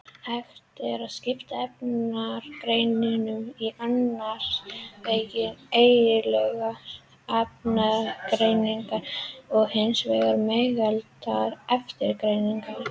Hægt er að skipta efnagreiningum í annars vegar eigindlegar efnagreiningar og hins vegar megindlegar efnagreiningar.